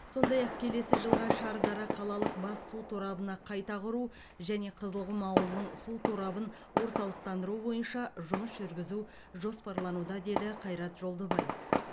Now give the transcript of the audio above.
сондай ақ келесі жылға шардара қалалық бас су торабына қайта құру және қызылқұм ауылының су торабын орталықтандыру бойынша жұмыс жүргізу жоспарлануда деді қайрат жолдыбай